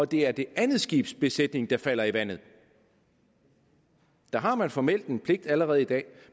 det er det andet skibs besætning der falder i vandet der har man formelt set en pligt allerede i dag